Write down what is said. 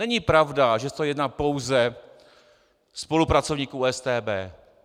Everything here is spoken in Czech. Není pravda, že se to týká pouze spolupracovníků StB.